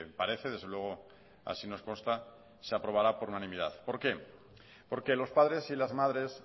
parece desde luego así nos consta se aprobará por unanimidad por qué porque los padres y las madres